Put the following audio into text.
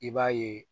I b'a ye